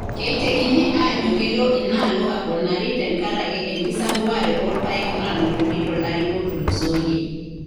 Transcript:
Keitekini aajo kelo inaalo aponari tenkaraki enkisampuare oo irpaek nanotoki to lari otulusoyie.